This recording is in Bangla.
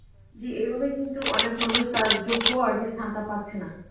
জি এভাবে কিন্তু অনেক মানুষ তার যোগ্য আর কি স্থানটা পাচ্ছে না